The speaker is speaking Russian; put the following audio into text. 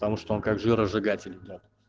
потому что он как жиросжигатель идёт